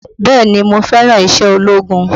Bẹ́ẹ̀ni mo fẹ́ràn iṣẹ́ ológun